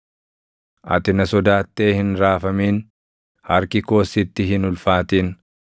Ati na sodaattee hin raafamin; harki koos sitti hin ulfaatin.